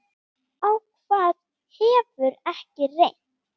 Á hvað hefur ekki reynt?